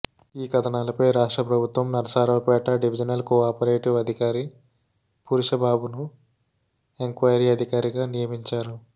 ఈ కథనాలపై రాష్ట్రప్రభుత్వం నరసరావుపేట డివిజనల్ కోఆపరేటివ్ అధికారి పురుష్బాబును ఎంక్వయిరీ అధికారిగా నియమించారు